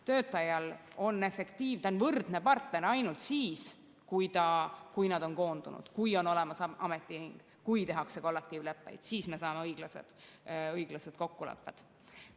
Töötajad on võrdne partner ainult siis, kui nad on koondunud, kui on olemas ametiühing, kui tehakse kollektiivleppeid, siis me saame õiglased kokkulepped.